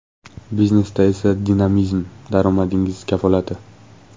Biznesda esa dinamizm daromadingiz kafolati.